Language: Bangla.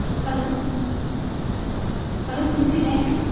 Hello, Hello CC bank?